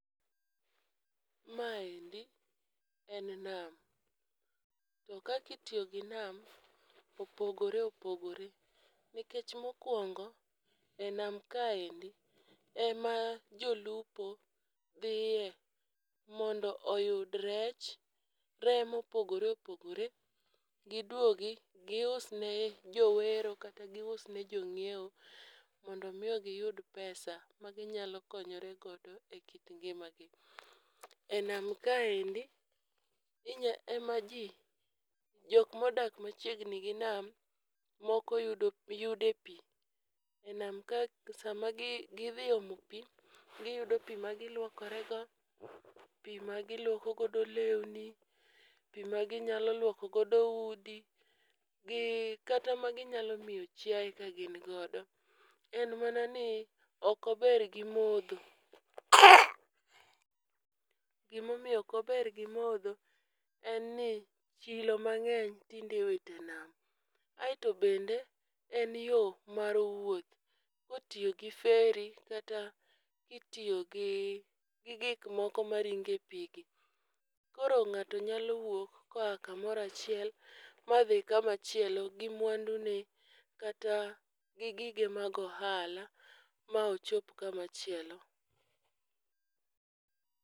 Ma endi en nam to kaki tiyo gi nam opogore opogore. Nikech mokwongo e nam kaendi ema jolupo dhiye mondo oyud rech , reye mopogore opogore giduogi gius e jowero kata gius ne jong'iewo mondo mi giyud pesa ma ginyalo konyore godo e kit ngimagi. E nam kaendi inya ema jii jok modak machiegni gi nam moko yudo yude pii. E nam ka sa ma gi gidhi omo pii giyudo pii ma giluokore go, pii ma giluoko godo lewni pii ma ginyalo luoko godo udi, gi kata ma ginyalo miyo chiaye ka gin godo. En mana ni ok ober gi modho. Gimomiyo ok ober gi modho en ni chilo mang'eny tinde iwite nam. Aeto bende en yoo mar wuoth kotiyo gi feri kata kitiyo gi gik moko maringe pii gi. Koro ng'ato nyalo wuok koa kamora chiel madhi kamachielo gi mwandu ne kata gi gige mag ohala ma ochop kama chielo.